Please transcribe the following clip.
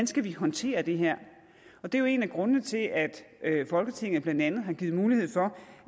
skal håndtere det her og det er jo en af grundene til at folketinget blandt andet har givet mulighed for